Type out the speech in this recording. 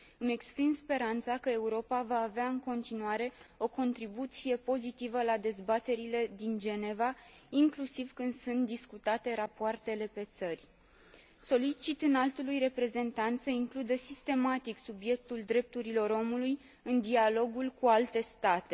Îmi exprim speranța că Europa va avea în continuare o contribuție pozitivă la dezbaterile de la Geneva, inclusiv când sunt discutate rapoartele pe țări. Solicit Înaltului Reprezentant să includă sistematic subiectul drepturilor omului în dialogul cu alte state.